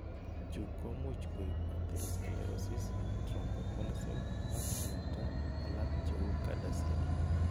Chu komuch koiib atherosclerosis, thromboembolism ak myenta alak cheu CADASIL.